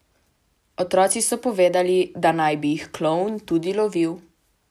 Otroci so povedali, da naj bi jih klovn tudi lovil.